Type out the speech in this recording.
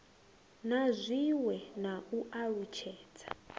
na zwiwe na u alutshedza